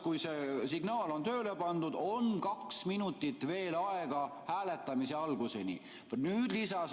Kui see signaal on tööle pandud, on kaks minutit veel aega hääletamise alguseni.